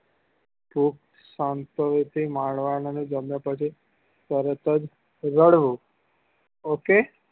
ખુબ શાંતિ થી તરત જ રડવું ok